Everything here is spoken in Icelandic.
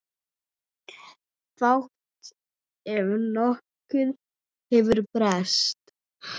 Fátt ef nokkuð hefur breyst.